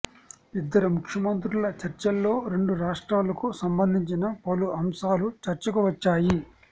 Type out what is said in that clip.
ఇద్దరు ముఖ్యమంత్రుల చర్చల్లో రెండు రాష్ట్రాలకు సంబంధించిన పలు అంశాలు చర్చకు వచ్చాయి